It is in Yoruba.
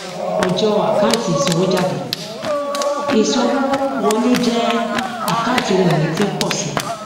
ọjọ àkántì isanwójádé ìsanwówọléjẹ àkáǹtí ohun ìní tí ń pọ sí